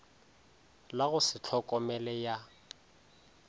la go se tlhokomele ya